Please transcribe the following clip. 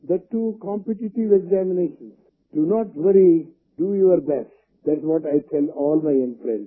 that to competitive examinations do not worry do your best that's what I tell all my young friends